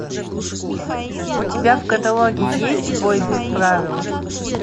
у тебя в каталоге есть бой без правил